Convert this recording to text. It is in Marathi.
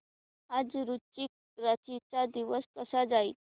आज वृश्चिक राशी चा दिवस कसा जाईल